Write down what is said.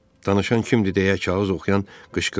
Danışan kimdir deyə kağız oxuyan qışqırdı.